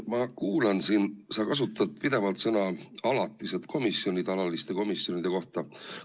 Ma kuulan siin, sa kasutad pidevalt sõnu "alatised komisjonid" alaliste komisjonide kohta.